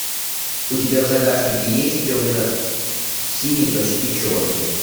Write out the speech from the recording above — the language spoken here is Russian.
у тебя в загашнике есть темно синий почти черный